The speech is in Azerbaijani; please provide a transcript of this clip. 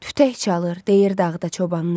Tütək çalır, deyir dağda çobanlar.